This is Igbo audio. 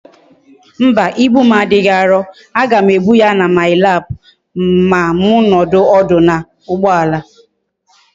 Mba, ibu m adighi aro, a gam ebu ya na my lap ma m nodu odu na ugboala